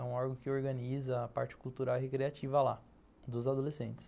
É um órgão que organiza a parte cultural e recreativa lá, dos adolescentes.